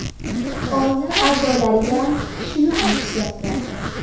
Oila a’zolariyam shuni aytishyapti.